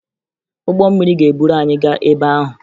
Ụgbọ mmiri ga-eburu anyị gaa ebe ahụ